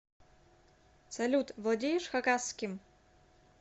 салют владеешь хакасским